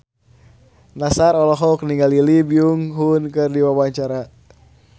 Nassar olohok ningali Lee Byung Hun keur diwawancara